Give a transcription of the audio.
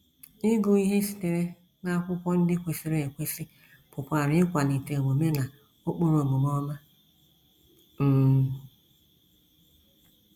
Ịgụ ihe site n’akwụkwọ ndị kwesịrị ekwesị pụkwara ịkwalite omume na ụkpụrụ omume ọma. um